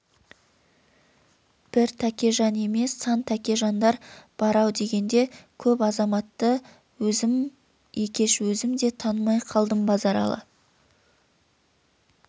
бір тәкежан емес сан тәкежандар бар-ау дегенде көп азаматты өзім екеш өзім де танымай қалдым базаралы